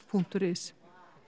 punktur is